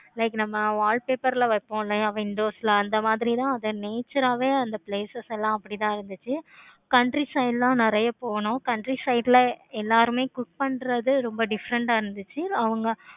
like நம்ம wallpaper ல வைப்போம். windows ல அந்த மாதிரி தான் அது nature ஆஹ் வே அந்த places எல்லாம் அப்படி தான் இருந்துச்சி. country side லாம் நெறைய போனும். country side ல எல்லாருமே cook பண்றது ரொம்ப different ஆஹ் இருந்துச்சி.